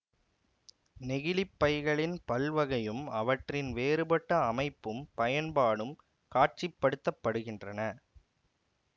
நெகிழிப்பைகளின் பல்வகையும் அவற்றின் வேறுபட்ட அமைப்பும் பயன்பாடும் காட்சிப்படுத்தப்படுகின்றன